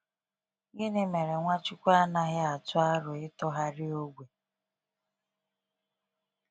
Gịnị mere Nwachukwu anaghị atụ aro ịtụgharị ogwe?